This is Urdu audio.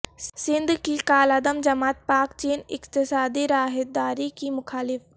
سندھ کی کالعدم جماعت پاک چین اقتصادی راہداری کی مخالف